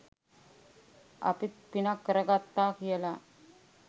අපිත් පිනක්‌ කරගත්තා කියලා